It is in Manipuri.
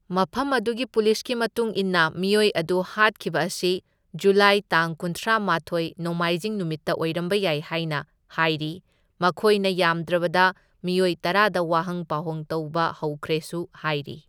ꯃꯐꯝ ꯑꯗꯨꯒꯤ ꯄꯨꯂꯤꯁꯀꯤ ꯃꯇꯨꯡ ꯏꯟꯅ ꯃꯤꯑꯣꯢ ꯑꯗꯨ ꯍꯥꯠꯈꯤꯕ ꯑꯁꯤ ꯖꯨꯂꯥꯏ ꯇꯥꯡ ꯀꯨꯟꯊ꯭ꯔꯥꯃꯥꯊꯣꯢ, ꯅꯣꯡꯃꯥꯢꯖꯤꯡ ꯅꯨꯃꯤꯠꯇ ꯑꯣꯢꯔꯝꯕ ꯌꯥꯢ ꯍꯥꯢꯅ ꯍꯥꯢꯔꯤ, ꯃꯈꯣꯢꯅ ꯌꯥꯝꯗ꯭ꯔꯕꯗ ꯃꯤꯑꯣꯏ ꯇꯔꯥꯗ ꯋꯥꯍꯪ ꯄꯥꯎꯍꯪ ꯇꯧꯕ ꯍꯧꯈ꯭ꯔꯦꯁꯨ ꯍꯥꯢꯔꯤ꯫